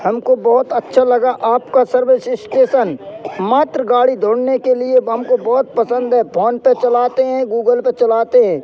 हमको बहुत अच्छा लगा आपका सर्विस स्टेशन मात्र गाड़ी ढूंढने के लिए हम को बहुत पसंद है फोन पे चलाते हैं गूगल पे चलाते हैं।